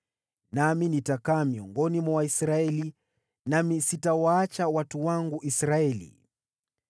Nami nitakaa miongoni mwa Waisraeli, nami sitawaacha watu wangu Israeli.”